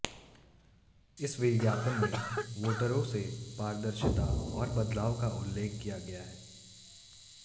इस विज्ञापन में वोटरों से पारदर्शिता और बदलाव का उल्लेख किया गया है